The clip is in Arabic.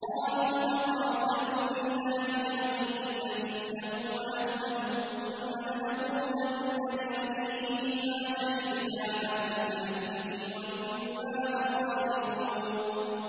قَالُوا تَقَاسَمُوا بِاللَّهِ لَنُبَيِّتَنَّهُ وَأَهْلَهُ ثُمَّ لَنَقُولَنَّ لِوَلِيِّهِ مَا شَهِدْنَا مَهْلِكَ أَهْلِهِ وَإِنَّا لَصَادِقُونَ